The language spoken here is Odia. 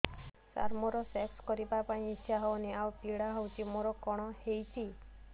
ସାର ମୋର ସେକ୍ସ କରିବା ପାଇଁ ଇଚ୍ଛା ହଉନି ଆଉ ପୀଡା ହଉଚି ମୋର କଣ ହେଇଛି